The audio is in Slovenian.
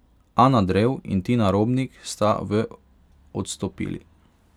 Ana Drev in Tina Robnik sta v odstopili.